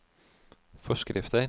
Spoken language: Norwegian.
forskrifter